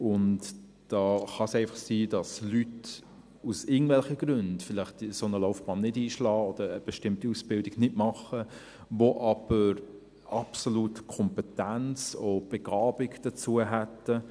Und da kann es einfach sein, dass Leute, aus irgendwelchen Gründen, vielleicht eine solche Laufbahn nicht einschlagen oder eine bestimmte Ausbildung nicht machen, die aber absolut die Kompetenz und die Begabung dazu hätten.